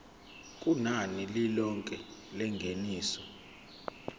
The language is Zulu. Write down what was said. kunani lilonke lengeniso